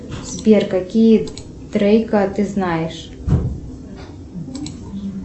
сбер какие трейка ты знаешь